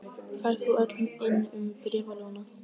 Færðu þau öll inn um bréfalúguna?